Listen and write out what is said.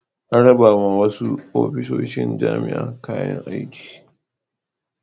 An rabawa wasu ofisoshin jami'a kayan aiki.